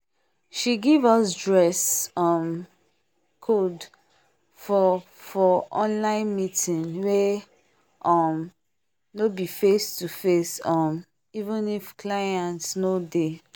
she give us dress um code for for online meeting wey um no be face to face um even if clients no dey